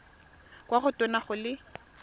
kwa go tona go le